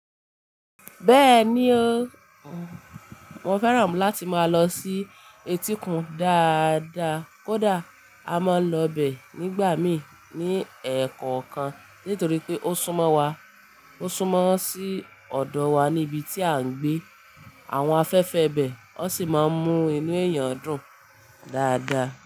Bẹ́ẹ̀ni o, mo fẹ́ràn láti máa lọ sí etíkun dáadáa. Kódà a máa ń lọ bẹ nígbà mí ní ẹ̀ẹ̀kọ̀kan nítorí pé ó súnmọ́ wa. Ó súnmọ́ sí ọ̀dọ̀ wa ní ibi tí à ń gbé. Àwọn afẹ́fẹ́ bẹ, wọ́n sì máa ń mú inú èèyàn dùn dáadáa.